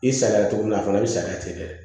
I sariyara cogo min na a fana bɛ saliya ten de